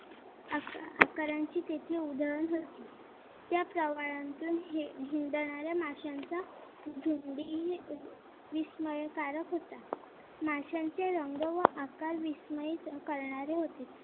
कारण की तेथे उधळण होती त्या त्या प्रवालात हे हिंडणाऱ्या माशांचा झोम्बी विस्मयकारक होता. माशांचे रंग व आकार विस्मई ही करणारे होते.